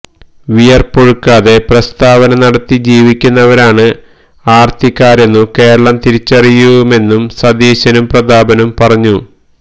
വിയര്പ്പൊഴുക്കാതെ പ്രസ്താവന നടത്തി ജീവിക്കുന്നവരാണ് ആര്ത്തിക്കാരെന്നു കേരളം തിരിച്ചറിയുമെന്നും സതീശനും പ്രതാപനും പറഞ്ഞു